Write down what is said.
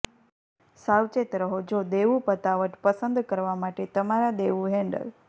સાવચેત રહો જો દેવું પતાવટ પસંદ કરવા માટે તમારા દેવું હેન્ડલ